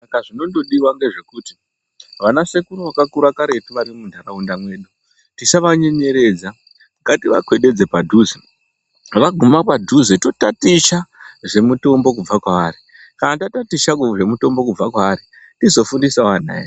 Saka zvinondodiwa ngezvekuti vanasekuru vakakura karetu vari muntaraunda mwedu, tisavanyenyeredza. Ngativakwededze padhuze. Vaguma padhuze totaticha zvemitombo kubva kwavari. Kana tataticha zvemitombo kubva kwavari, tizofundisawo ana edu.